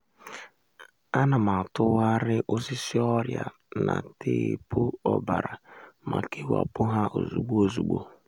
a na m atụgharị osisi ọrịa na teepu ọbara ma kewapụ ha ozugbo ozugbo